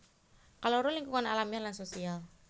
Kaloro lingkungan alamiah lan sosial